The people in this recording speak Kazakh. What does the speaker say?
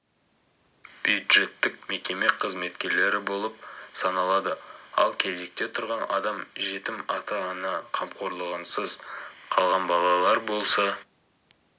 бюджеттік мекеме қызметкерлері болып саналады ал кезекте тұрған адам жетім ата-ана қамқорлығынсыз қалған балалар болса